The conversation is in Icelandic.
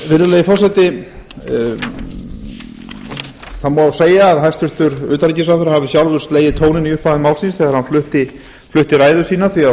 virðulegi forseti það má segja að hæstvirtur utanríkisráðherra hafi sjálfur slegið tóninn í upphafi máls síns þegar hann flutti ræðu sína því að